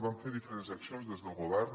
vam fer diferents accions des del govern